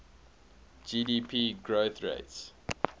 gdp growth rates